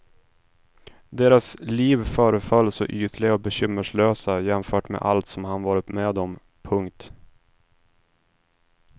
Deras liv föreföll så ytliga och bekymmerslösa jämfört med allt som han varit med om. punkt